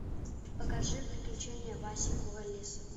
покажи приключения васи куролесова